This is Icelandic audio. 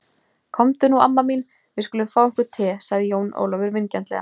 Komdu nú amma mín, við skulum fá okkur te, sagði Jón Ólafur vingjarnlega.